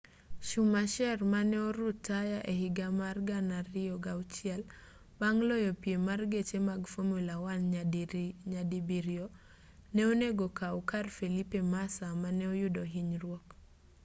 schumacher mane orutaya ehiga mar 2006 bang' loyo piem mar geche mag formula 1 nyadibiriyo ne onego okaw kar felipe massa mane oyudo hinyruok